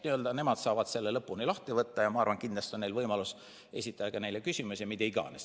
Nemad saavad selle lõpuni lahti võtta ja ma arvan, et kindlasti on neil võimalus esitada ka küsimusi.